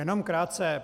Jenom krátce.